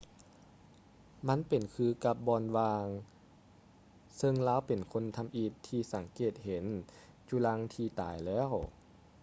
ມັນເປັນຄືກັບບ່ອນວ່າງ ເຊິ່ງລາວເປັນຄົນທຳອິດທີ່ສັງເກດເຫັນຈຸລັງທີ່ຕາຍແລ້ວ